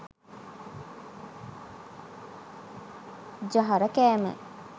ජහර කෑම